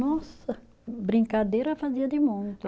Nossa, brincadeira fazia de monte.